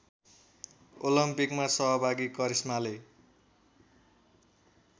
ओलम्पिकमा सहभागी करिश्माले